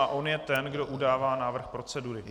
A on je ten, kdo udává návrh procedury.